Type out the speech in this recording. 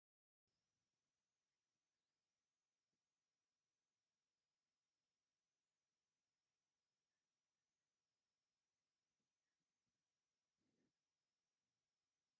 ንደቂ ሰባት ኣዝዮም ንንፅህና ዝጠቅሙና ከም ዝተፈላለዩ ዓይነት ሻምፖ ፣ ሎሽናት ኣብ መደርደሪ ኣለዉ ። እቲ ኣብ ታሕቲ ዘሎ ኣብ ባኮ እንታይ እዩ ?